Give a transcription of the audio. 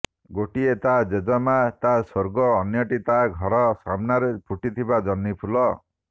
ଗୋଟିଏ ତା ଜେଜେମା ତା ସ୍ୱର୍ଗ ଅନ୍ୟଟି ତା ଘର ସାମନାରେ ଫୁଟିଥିବା ଜହ୍ନିଫୁଲ